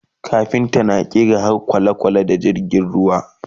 kafinta na ƙera harda kwalekwale da jirgin ruwa